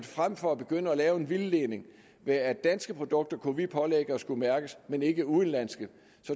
frem for at begynde at lave en vildledning med at danske produkter kan vi pålægge at skulle mærkes men ikke udenlandske